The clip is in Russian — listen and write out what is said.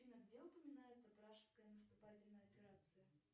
афина где упоминается вражеская наступательная операция